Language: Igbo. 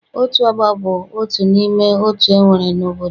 Otu ọgbọ bụ otu n'ime otu e nwere n'obodo.